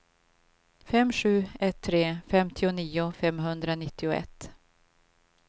fem sju ett tre femtionio femhundranittioett